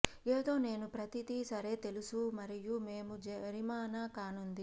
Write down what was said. ఏదో నేను ప్రతిదీ సరే తెలుసు మరియు మేము జరిమానా కానుంది